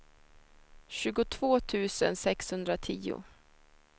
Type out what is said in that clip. tjugotvå tusen sexhundratio